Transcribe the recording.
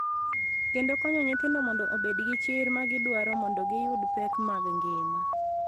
Kendo konyo nyithindo mondo obed gi chir ma gidwaro mondo giyud pek mag ngima.